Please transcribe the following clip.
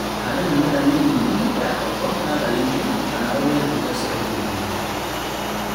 Hada mĩmere mĩnini ya koko natharĩinĩ kana ũgũre duka cia ũthuthuria